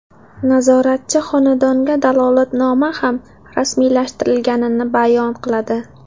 Nazoratchi xonadonga dalolatnoma ham rasmiylashtirilganini bayon qiladi.